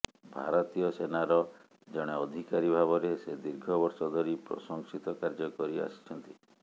ଭାରତୀୟ ସେନାର ଜଣେ ଅଧିକାରୀ ଭାବରେ ସେ ଦୀର୍ଘ ବର୍ଷ ଧରି ପ୍ରଶଂସିତ କାର୍ଯ୍ୟ କରି ଆସିଛନ୍ତି